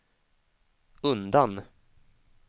undan